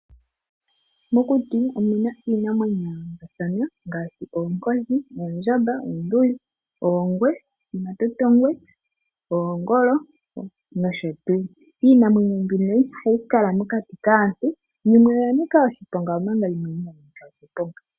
Mokuti omu na iinamwenyo ya yoolokathana ngaashi: oonkoshi, oondjamba, oonduli, omatotongwe, oongwe, oongolo nosho tuu. Iimamwenyo mbino ihayi kala mokati kaantu. Yimwe oya nika oshiponga, omanga yimwe inayi nika oshiponga.